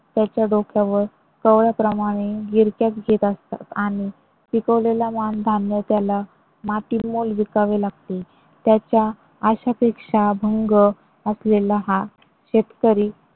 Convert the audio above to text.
त्याच्या डोक्यावर कवळ्याप्रमाणे गिरक्याच घेत असतात आणि पिकवलेला धान्य त्याला मातीमोल विकावे लागते. त्याच्या आश्यापेक्षा भंग असलेला हा शेतकरी